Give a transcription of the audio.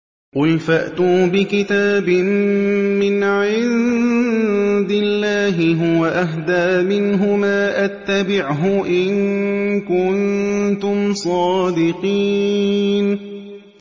قُلْ فَأْتُوا بِكِتَابٍ مِّنْ عِندِ اللَّهِ هُوَ أَهْدَىٰ مِنْهُمَا أَتَّبِعْهُ إِن كُنتُمْ صَادِقِينَ